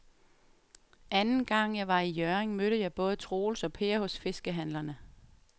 Anden gang jeg var i Hjørring, mødte jeg både Troels og Per hos fiskehandlerne.